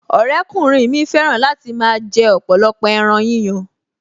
Ọ̀rẹ́kùnrin mi fẹ́ràn láti máa jẹ ọ̀pọ̀lọpọ̀ ẹran yíyan